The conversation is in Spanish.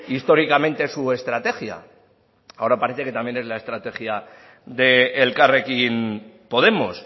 históricamente su estrategia ahora parece que también es la estrategia de elkarrekin podemos